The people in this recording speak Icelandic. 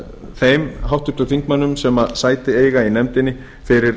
þeim háttvirtum þingmönnum sem sæti eiga í nefndinni fyrir